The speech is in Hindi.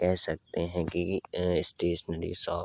कह सकते है कि स्टेशनरी शॉप --